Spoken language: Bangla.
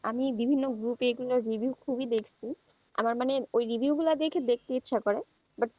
আমি বিভিন্ন group এগুলো review খুবই দেখছে আমার মানে ওই review গুলো দেখে দেখতে ইচ্ছা করে,